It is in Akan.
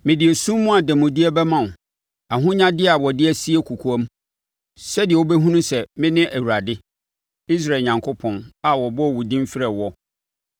Mede esum mu ademudeɛ bɛma wo ahonyadeɛ a wɔde asie kɔkoam sɛdeɛ wobɛhunu sɛ, mene Awurade, Israel Onyankopɔn, a ɔbɔ wo din frɛ woɔ.